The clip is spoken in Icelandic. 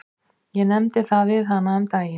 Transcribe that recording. Ég nefndi það við hana um daginn.